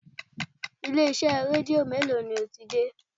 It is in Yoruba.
Ilé-iṣẹ́ Rédíó mélòó ni o ti dé?